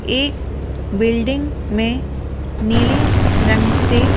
एक बिल्डिंग में नीले रंग से--